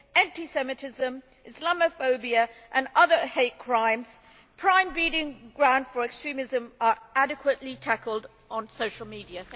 anti semitism, islamophobia and other hate crimes prime breeding grounds for extremism are adequately tackled on social media.